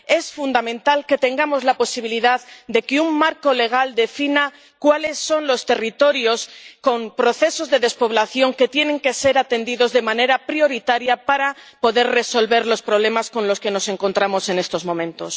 Es fundamental que tengamos la posibilidad de que un marco legal defina cuáles son los territorios con procesos de despoblación que tienen que ser atendidos de manera prioritaria para poder resolver los problemas con los que nos encontramos en estos momentos.